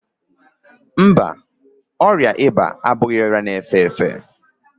Ọ dịghị ịba abụghị ọrịa na-efe efe.